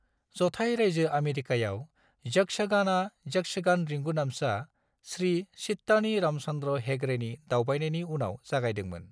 जथाइ रायजो आमेरिकाआव यक्षगानआ यक्षगान रिंगुदामसा, श्री चित्तानी रामचन्द्र हेगड़ेनि दावबायनायनि उनाव जागायदोंमोन।